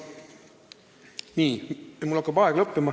Nii, mul hakkab aeg lõppema.